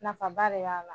Nafaba de b'a la